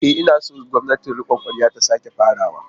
E, ina son gwamnatin rikon kwarya ta sake farawa.